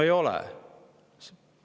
No ei ole!